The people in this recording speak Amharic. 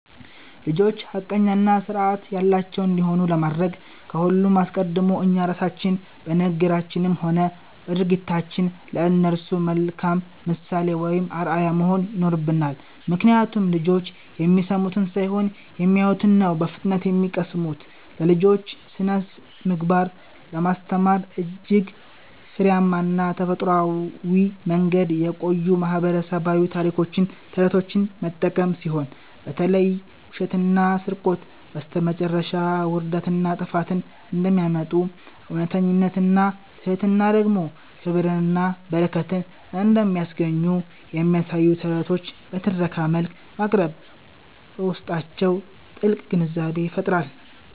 ልጆች ሐቀኛና ሥርዓት ያላቸው እንዲሆኑ ለማድረግ ከሁሉ አስቀድሞ እኛ ራሳችን በንግግራችንም ሆነ በድርጊታችን ለእነሱ መልካም ምሳሌ ወይም አርአያ መሆን ይኖርብናል፤ ምክንያቱም ልጆች የሚሰሙትን ሳይሆን የሚያዩትን ነው በፍጥነት የሚቀስሙት። ለልጆች ስነ-ምግባርን ለማስተማር እጅግ ፍሬያማና ተፈጥሯዊው መንገድ የቆዩ ማህበረሰባዊ ታሪኮችንና ተረቶችን መጠቀም ሲሆን፣ በተለይም ውሸትና ስርቆት በስተመጨረሻ ውርደትንና ጥፋትን እንደሚያመጡ፣ እውነተኝነትና ትሕትና ደግሞ ክብርንና በረከትን እንደሚያስገኙ የሚያሳዩ ተረቶችን በትረካ መልክ ማቅረብ በውስጣቸው ጥልቅ ግንዛቤን ይፈጥራል።